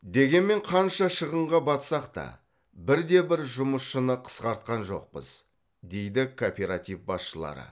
дегенмен қанша шығынға батсақ та бірде бір жұмысшыны қысқартқан жоқпыз дейді кооператив басшылары